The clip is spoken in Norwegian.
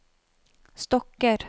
stokker